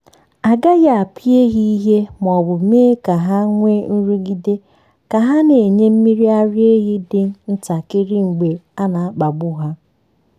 a gaghị apịa ehi ìhè ma ọ bụ mee ka ha nwee nrụgide — ha na-enye mmiri ara ehi dị ntakịrị mgbe a na-akpagbu ha.